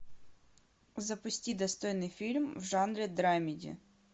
запусти достойный фильм в жанре драмеди